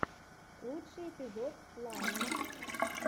лучший эпизод лайн